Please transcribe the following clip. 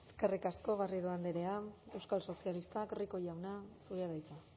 eskerrik asko garrido andrea euskal sozialistak rico jauna zurea da hitza